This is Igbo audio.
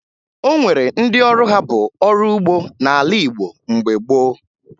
O nwere ndị ọrụ ha bụ ọrụ ugbo n'ala Igbo mgbe gboo